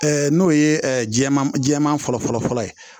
n'o ye jɛman jɛman fɔlɔ fɔlɔ ye